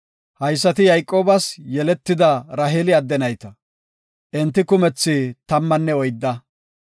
Haysati Yayqoobas yeletida Raheeli adde nayta. Enti kumethi tammanne oydda.